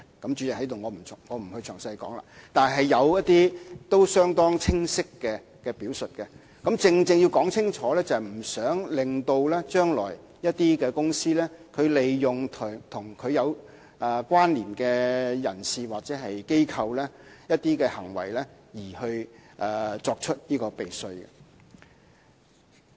主席，我在此便不詳細說了，但確實是有一些相當清晰的表述，而它正正是要說清楚這一點，不想將來某些公司會利用與它有關連的人士或機構，通過某些行為作出避稅行為。